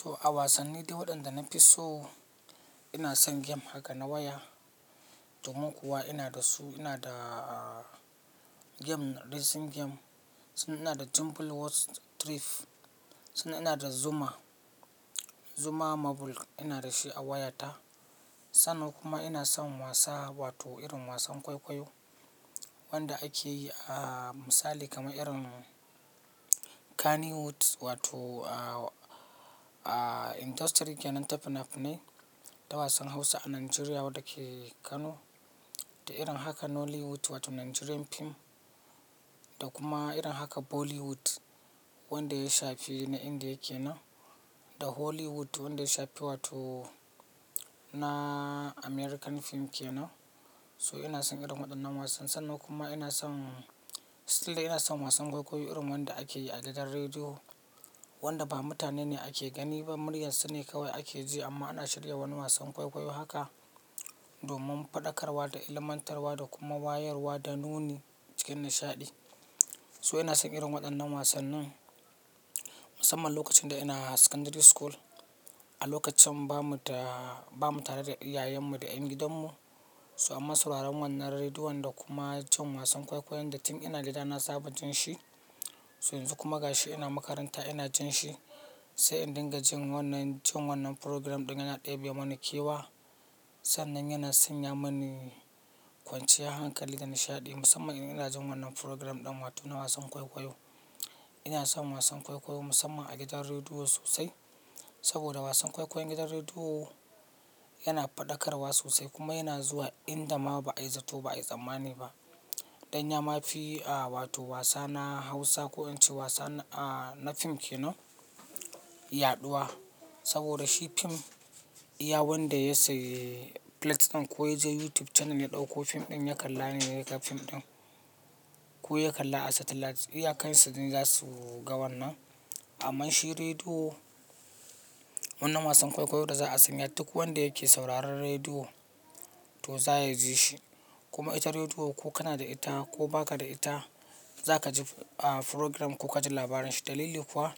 To a wasanni dai waɗanda na fi so ina son game haka na waya. Domin kuwa ina da su ina da game racing game, sannan ina da Temple Run, sannan ina da Zuma. Zuma mobile ina da shi a wayata. Sannan kuma ina son wasa wato irin wasan kwaikwayo wanda ake yi a misali kamar irin Kannywood wato a Industry kenan tafinafinai na wasan Hausa a Najeriya wanda ke Kano da irin haka Nollywood wato Nigerian fim da kuma irin haka Bollywood wanda ya shafi na Indiya ke nan da Hollywood wanda ya shafi wato na American fim ke nan. So ina son irin waɗannan wasannin. Sannan kuma ina son tunda ina son wasan kwaikwayo irin wanda ake yi a gidan rediyo wanda ba mutane ne ake gani ba, muryar su ne kawai ake ji amma ana shirya wani wasan kwaikwayo haka domin faɗakarwa da ilmantarwa da kuma wayarwa da nuni cikin nishaɗi. So ina son irin waɗannan wasannin musamman lokacin da ina a secondary school. A lokacin bamu tare da iyayenmu da ƴan gidanmu. So amma sauraron wannan rediyon da kuma jin wasan kwaikwayon da tin ina gida na saba jin shi. Yanzu kuma gashi ina makaranta ina jinshi, sai in dinga jin wannan program naga yaɗebemin kewa sannan yana sanya mini kwanciyan hankali da nishaɗi musamman in inajin wannan program ɗin wato na wasan kwaikwayo. Ina son wasan kwaikwayo musamman a gidan rediyo sosai saboda wasan kwaikwayon gidan rediyo yana faɗakarwa sosai kuma yana zuwa inda ma ba ai zato ba ai tsammani ba. Danya ma fi a wato wasa na Hausa ko in ce wasan a na fim ke nan yaɗuwa saboda shi fim iya wanda ya sayi plate ɗin ko ya je YouTube channel ya ɗauko fim ɗin ya kalla ne zai ga fim ɗin ko ya kalla a satellite iyakan su sune za su ga wannan. Amma shi rediyo wannan wasan kwaikwayon da za a sanya duk wanda yake sauraron rediyo to za ya ji shi. Kuma ita rediyo ko kana da ita ko ba ka da ita za ka ji program ko ka ji labarin shi. Dalili kuwa